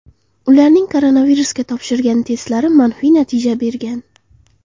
Ularning koronavirusga topshirgan testlari manfiy natija bergan.